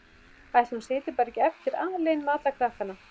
Ætli hún sitji bara ekki eftir alein með alla krakkana?